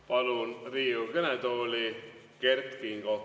Palun Riigikogu kõnetooli Kert Kingo.